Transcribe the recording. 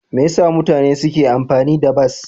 Me yasa mutane suke amfani da bas?